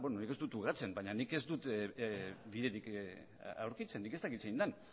nik ez dut ukatzen baina nik ez dut biderik aurkitzen nik ez dakit zein den